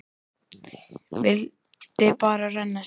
Vildi bara renna sér.